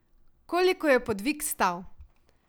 Koliko je podvig stal?